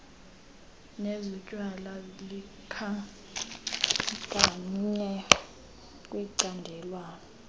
nezotywala likhankanywe kwicandelwana